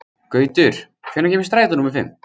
Gautur, hvenær kemur strætó númer fimm?